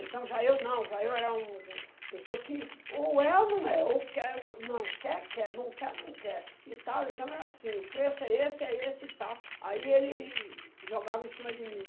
Então já eu não, já eu era um um pessoa que ou é ou não é, ou quer, não, quer, quer, não quer, não quer, e tal, então era assim, o preço é esse, é esse e tal, aí ele jogava em cima de mim.